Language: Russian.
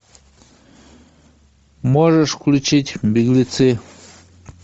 можешь включить беглецы